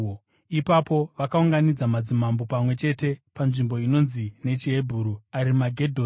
Ipapo vakaunganidza madzimambo pamwe chete panzvimbo inonzi nechiHebheru Arimagedhoni.